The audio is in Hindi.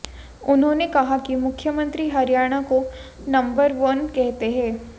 उन्होंने कहा कि मुख्यमंत्री हरियाणा को नंबर वन कहते हैं